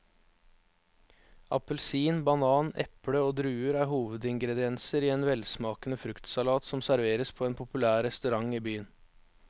Appelsin, banan, eple og druer er hovedingredienser i en velsmakende fruktsalat som serveres på en populær restaurant i byen.